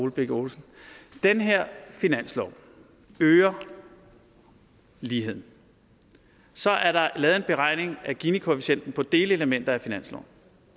ole birk olesen den her finanslov øger ligheden så er der lavet en beregning af ginikoefficienten på delelementer af finansloven